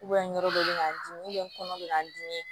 yɔrɔ dɔ be k'an dimi n kɔnɔ bɛ k'an dimi